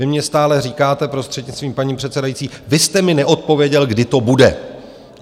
Vy mně stále říkáte, prostřednictvím paní předsedající: vy jste mi neodpověděl, kdy to bude!